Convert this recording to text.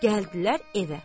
Gəldilər evə.